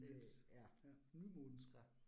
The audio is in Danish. Det ja, så